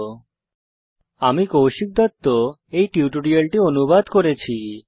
http spoken tutorialorgnmeict intro আমি কৌশিক দত্ত এই টিউটোরিয়ালটি অনুবাদ করেছি